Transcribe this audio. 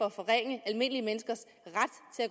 at forringe almindelige menneskers